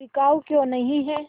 बिकाऊ क्यों नहीं है